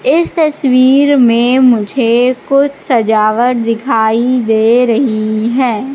इस तस्वीर में मुझे कुछ सजावट दिखाई दे रही है।